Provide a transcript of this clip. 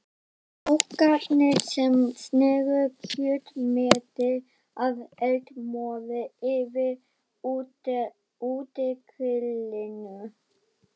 Kokkarnir sem sneru kjötmeti af eldmóði yfir útigrillinu.